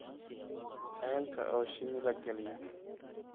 Ceelka oo shinni la geliyo.